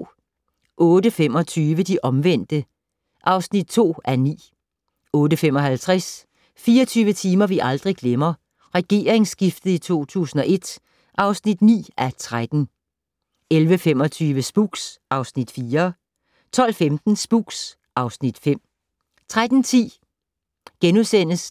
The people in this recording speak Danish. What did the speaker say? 08:25: De omvendte (2:9) 08:55: 24 timer vi aldrig glemmer - regeringsskiftet i 2001 (9:13) 11:25: Spooks (Afs. 4) 12:15: Spooks (Afs. 5) 13:10: